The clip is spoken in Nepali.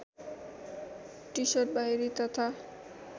टिसर्ट बाहिरी तथा